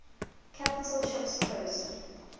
capital ships posed